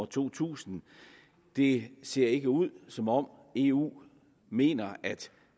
to tusind det ser ikke ud som om eu mener at